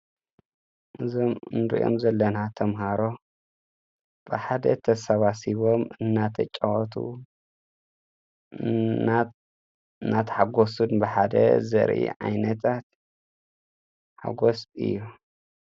እዞም እንድኦም ዘለና ተምሃሮ ብሓደ ተሰባሲቦም እናተ ጨወቱ ናታ ሓጐሱድ ብሓደ ዘርኢ ኣይነታት ሓጐስ እዩ።